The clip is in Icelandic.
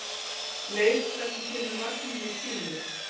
Leif, hvenær kemur vagn númer tíu?